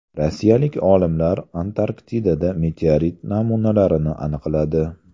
Rossiyalik olimlar Antarktidada meteorit namunalarini aniqladi.